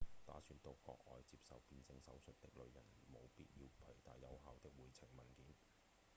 打算到國外接受變性手術的旅人務必要攜帶有效的回程文件